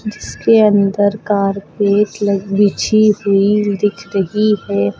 इसके अंदर कारपेट लग बिछी हुई दिख रही है।